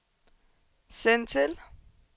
send til